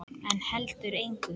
En heldur engu.